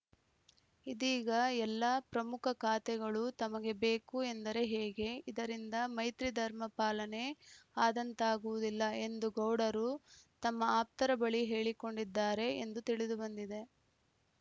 ಇದೀಗ ಎಲ್ಲ ಪ್ರಮುಖ ಖಾತೆಗಳೂ ತಮಗೆ ಬೇಕು ಎಂದರೆ ಹೇಗೆ ಇದರಿಂದ ಮೈತ್ರಿಧರ್ಮ ಪಾಲನೆ ಆದಂತಾಗುವುದಿಲ್ಲ ಎಂದು ಗೌಡರು ತಮ್ಮ ಆಪ್ತರ ಬಳಿ ಹೇಳಿಕೊಂಡಿದ್ದಾರೆ ಎಂದು ತಿಳಿದು ಬಂದಿದೆ